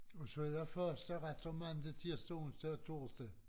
Og så er der faste retter mandag tirsdag onsdag og torsdag